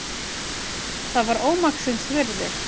Það var ómaksins virði.